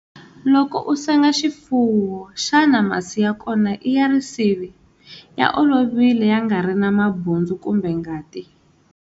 Loko u senga xifuwo, xana masi ya kona i ya rivisi, ya olovile ya nga ri na mabundzu kumbe ngati?